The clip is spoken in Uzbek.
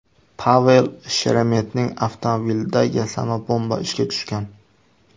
Pavel Sheremetning avtomobilida yasama bomba ishga tushgan.